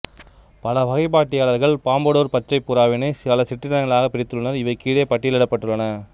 பல வகைப்பாட்டியலாளர்கள் பாம்படோர் பச்சை புறாவினை பல சிற்றினங்களாகப் பிரித்துள்ளனர் இவை கீழே பட்டியலிடப்பட்டுள்ளன